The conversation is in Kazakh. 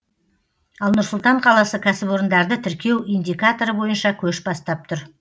ал нұр сұлтан қаласы кәсіпорындарды тіркеу индикаторы бойынша көш бастап тұр